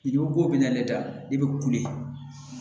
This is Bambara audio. I ko ko bɛna ne da i bɛ kule